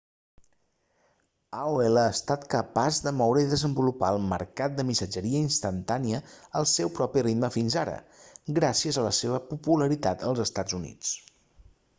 aol ha estat capaç de moure i desenvolupar el mercat de missatgeria instantània al seu propi ritme fins ara gràcies a la seva popularitat als estats units